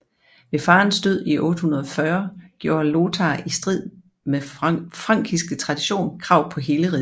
Ved faderens død i 840 gjorde Lothar i strid med frankisk tradition krav på hele riget